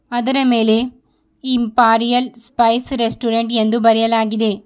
ಅದರ ಮೇಲೆ imperial spice restaurant ಎಂದು ಬರೆಯಲಾಗಿದೆ.